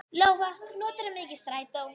Lóa: Notarðu mikið strætó?